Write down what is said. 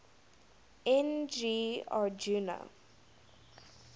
n g rjuna